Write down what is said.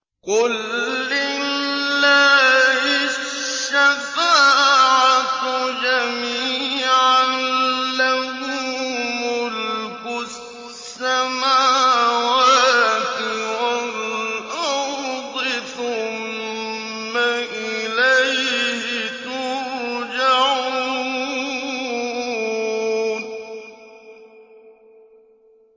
قُل لِّلَّهِ الشَّفَاعَةُ جَمِيعًا ۖ لَّهُ مُلْكُ السَّمَاوَاتِ وَالْأَرْضِ ۖ ثُمَّ إِلَيْهِ تُرْجَعُونَ